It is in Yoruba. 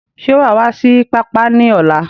Ṣé wa wá sí pápá ni ọ̀la?